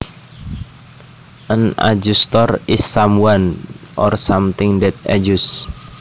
An adjustor is someone or something that adjusts